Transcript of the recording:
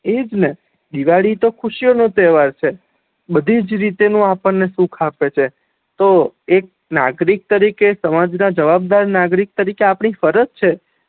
એ જ ને દિવાળી તો ખુશીયો નો તેહવાર છ બધીજ રીતે નુ આપડ ને સુખ આપે છે તો એક નાગરિક તરી કે સમાજ ના જવાબદાર નાગરિક તારી કે આપડી ફરજ છે